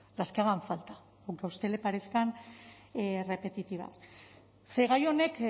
las que hagan falta aunque a usted le parezcan repetitivas ze gai honek